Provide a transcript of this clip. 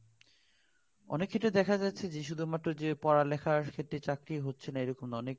অনেক ক্ষেত্রে দেখা যাচ্ছে যে পড়াশোনার ক্ষেত্রে চাকরি হচ্ছে না এরকম না অনেক